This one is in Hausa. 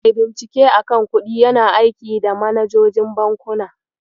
Mai bincike a kan kuɗi yana aiki da manajojin bankuna.